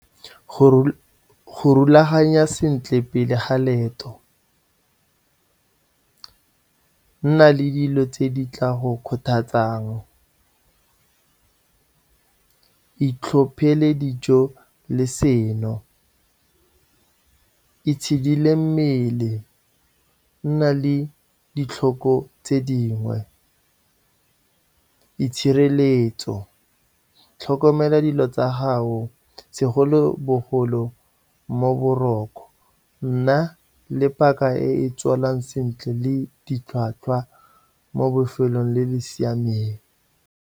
Go rulaganya sentle pele ga leeto, nna le dilo tse di tla go kgothatsang, itlhophele dijo le seno, itshidile mmele, nna le ditlhoko tse dingwe, itshireletso, tlhokomela dilo tsa gago segolobogolo mo boroko, nna le paka e tswalang sentle le ditlhwatlhwa mo bofelong le le siameng.